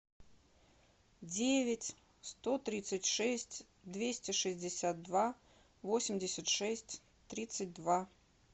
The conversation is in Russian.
девять сто тридцать шесть двести шестьдесят два восемьдесят шесть тридцать два